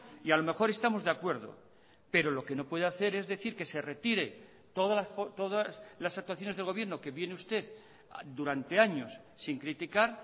y a lo mejor estamos de acuerdo pero lo que no puede hacer es decir que se retire todas las actuaciones del gobierno que viene usted durante años sin criticar